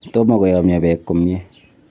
Tomo koyomyo peek komnyie.